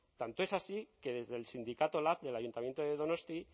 tanto es así que desde el sindicato lab del ayuntamiento de donosti